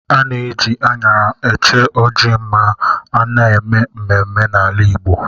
A na-eji aṅara eche ọjị ma a na-eme mmemme n'ala Igbo.